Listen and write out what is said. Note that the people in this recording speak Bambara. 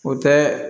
O tɛ